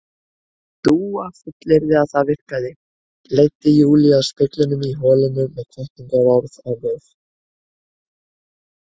Dúa fullyrti að það virkaði, leiddi Júlíu að speglinum í holinu með hvatningarorð á vör.